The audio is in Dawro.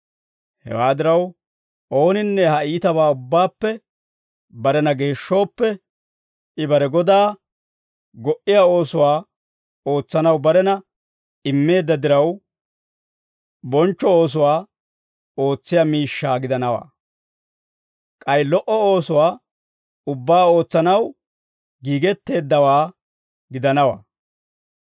Hewaa diraw, ooninne ha iitabaa ubbaappe barena geeshshooppe, I bare Godaa go"iyaa oosuwaa ootsanaw barena immeedda diraw, bonchcho oosuwaa ootsiyaa miishshaa gidanawaa. K'ay lo"o oosuwaa ubbaa ootsanaw giigetteeddawaa gidanawaa.